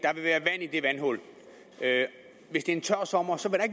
vandhul hvis det er en tør sommer